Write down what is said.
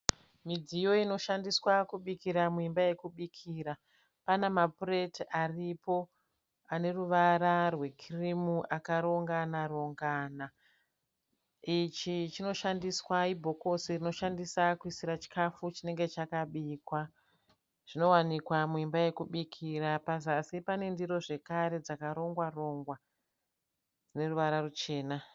Midziyo inoshandiswa kubikira muimba yekubikira pana mapureti aripo ane ruvara rwekirimu akarongana rongana ichi chinoshandiswa ibhokose rinoshandisa kuisira chikafu chinenge chakabikwa zvinowanikwa muimba yekubikira pazasi pane ndiro zvekare dzakarongwa rongwa dzine ruvara ruchena.